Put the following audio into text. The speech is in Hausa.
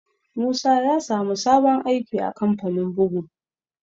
Musa ya sa mu sabon aiki a kamfanin bugu